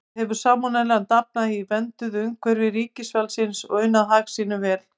Þar hefur salmonellan dafnað í vernduðu umhverfi ríkisvaldsins og unað hag sínum vel.